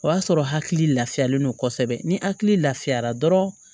O y'a sɔrɔ hakili lafiyalen don kosɛbɛ ni hakili lafiyara dɔrɔn